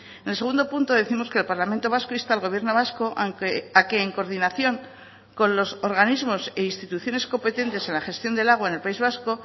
en el segundo punto décimos que el parlamento vasco insta al gobierno vasco a que en coordinación con los organismos e instituciones competentes en la gestión del agua en el país vasco